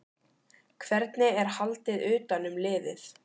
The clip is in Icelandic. Hvernig er haldið utan um liðið?